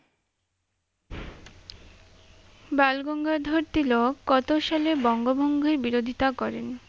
বালগঙ্গাধর তিলক কত সালে বঙ্গভঙ্গই বিরোধিতা করেন?